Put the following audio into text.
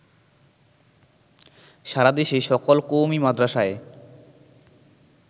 সারাদেশে সকল কওমী মাদ্রাসায়